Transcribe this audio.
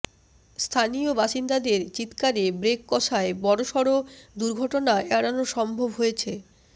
স্থানীয় বাসিন্দাদের চিৎকারে ব্রেক কষায় বড়সড় দুর্ঘটনা এড়ানো সম্ভব হয়েছে